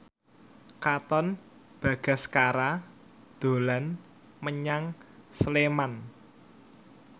Katon Bagaskara dolan menyang Sleman